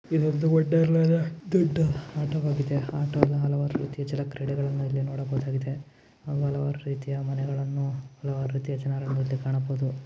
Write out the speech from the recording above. ಇದು ಒಂದು ವಂಡರ್ ಲಾದ ದೊಡ್ಡ ಆಟ ಆಗಿದೆ ಆಟದಲ್ಲಿ ಹಲವಾರು ಜಲ ಕ್ರೀಡೆಗಳನ್ನು ಇಲ್ಲಿ ನೋಡಬಹುದಾಗಿದೆ ಹಲವಾರು ರೀತಿಯ ಮನೆಗಳನ್ನು ಹಲವಾರು ರೀತಿಯ ಜನರ ಮಧ್ಯೆ ಕಾಣಬಹುದು .